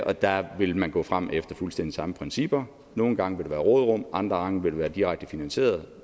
og der vil man gå frem efter fuldstændig samme principper nogle gange vil der være råderum andre gange vil det være direkte finansieret